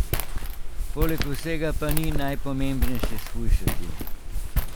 Poleg vsega pa ni najpomembnejše shujšati.